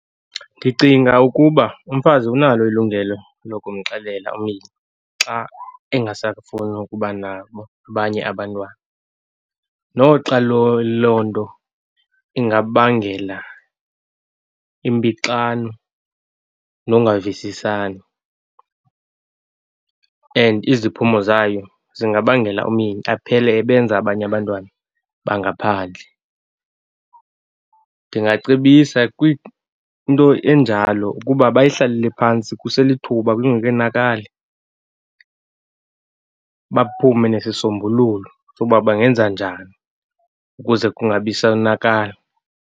Ndicinga ukuba umfazi unalo ilungelo lokumxelela umyeni xa engasakufuni ukuba nabo abanye abantwana, noxa loo nto ingabangela impixano nongavisisani and iziphumo zayo zingabangela umyeni aphele ebenza abanye abantwana bangaphandle. Ndingacebisa kwinto enjalo ukuba bayihlalele phantsi kuselithuba kungekenakali, baphume nesisombululo sokuba bangenza njani, ukuze kungabi sonakala.